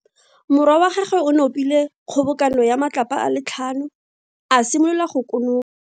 Morwa wa gagwe o nopile kgobokano ya matlapa a le tlhano, a simolola go kono.